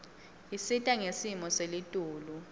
isita ngesimo selitulu